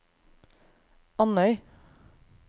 Andøy